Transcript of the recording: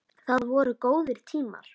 Það voru góðir tímar.